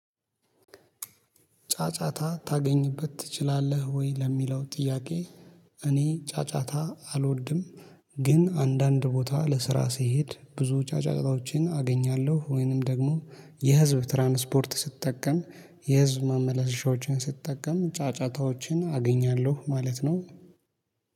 ጫጫታ ታገኝበት ትችላለህ ወይ ለሚለው ጥያቄ? እኔ ጫጫታ አልወድም። ግን አንዳንድ ቦታ ለስራ ስሄድ ብዙ ጫጫታዎችን አገኛለሁ ወይንም ደግሞ የህዝብ ትራንስፖርት ስትጠቀም የህዝብ ማመላለሻዎችን ስትጠቀም ጫጫታዎችን አገኛለሁ ማለት ነው